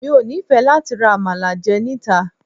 Mi ò nífẹ̀ẹ́ láti ra Àmàlà jẹ níta.